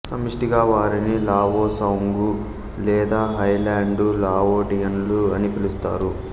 సమిష్టిగా వారిని Lao Soung లేదా హైలాండు లావోటియన్లు అని పిలుస్తారు